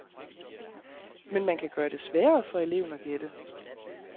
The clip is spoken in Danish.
Men man kan gøre det sværere for eleven at gætte.